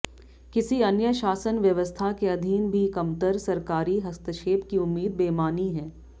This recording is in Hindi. किसी अन्य शासन व्यवस्था के अधीन भी कमतर सरकारी हस्तक्षेप की उम्मीद बेमानी है